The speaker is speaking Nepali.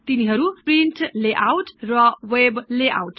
तिनीहरु प्रिन्ट् लेआउट् र वेब लेआउट् हुन्